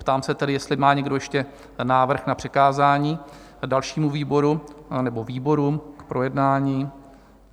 Ptám se tedy, jestli má někdo ještě návrh na přikázání dalšímu výboru nebo výborům k projednání?